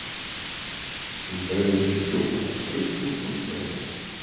Hún dregur tyggjópakka upp úr buxnavasa.